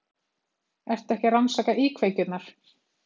Ertu ekki að rannsaka íkveikjurnar?